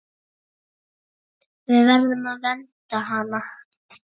Við verðum að vernda hana.